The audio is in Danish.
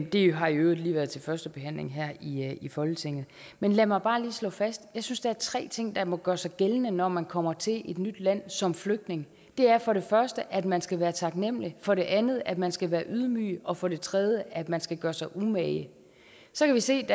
det har i øvrigt lige været til første behandling her i i folketinget men lad mig bare lige slå fast at jeg synes der er tre ting der må gøre sig gældende når man kommer til et nyt land som flygtning det er for det første at man skal være taknemlig for det andet at man skal være ydmyg og for det tredje at man skal gøre sig umage så kan vi se